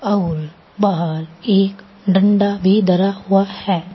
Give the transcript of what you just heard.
और बाहर एक डंडा भी धरा हुआ है।